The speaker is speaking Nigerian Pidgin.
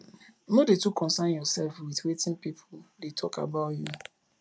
no dey too consyn yourself with wetin people dey talk about you